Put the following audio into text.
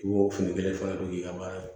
I b'o fini kelen fɔ k'i ka